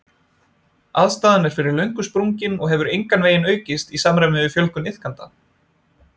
Aðstaðan er fyrir löngu sprungin og hefur engan veginn aukist í samræmi við fjölgun iðkenda.